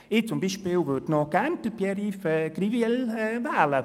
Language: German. Ich zum Beispiel würde gerne Grossrat Grivel in die Regierung wählen.